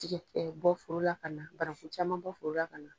Tigɛ bɔ forola ka na, bananku caman bɔ foro ka na